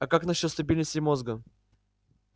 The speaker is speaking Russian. а как насчёт стабильности мозга